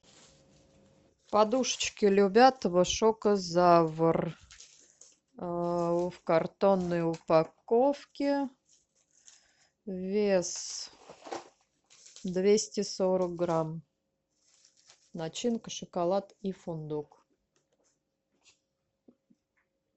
подушечки любятово шокозавр в картонной упаковке вес двести сорок грамм начинка шоколад и фундук